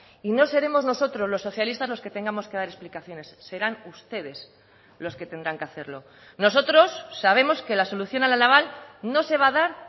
y no seremos nosotros los socialistas los que tengamos que dar explicaciones serán ustedes los que tendrán que hacerlo nosotros sabemos que la solución a la naval no se va a dar